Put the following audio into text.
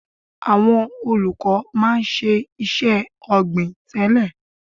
Àwọn olùkọ́ máa ń ṣe iṣẹ́ ọ̀gbìn tẹ́lẹ̀.